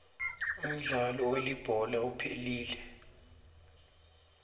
umdlalo welibhola uphelile